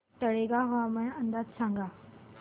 तळेगाव हवामान अंदाज सांगा